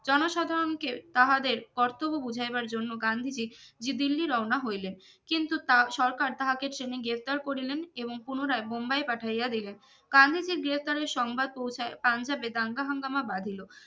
জনসাধারনকে তাহাদের কর্তব্য বুঝাইবার জন্য গান্ধীজি যে দিল্লি রওনা হইলেন কিন্তু তা সরকার তাহাকে ট্রেনে গ্রেপ্তার করিলেন এবং পুনরায় বোম্বাই পাঠাইয়া দিলেন গান্ধীজির গ্রেফতারের সংবাদ পৌঁছায় পাঞ্জাবে দাঙ্গাহাঙ্গামা বাঁধিলো